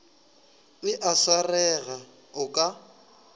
e a swarega o ka